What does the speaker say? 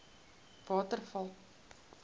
waterval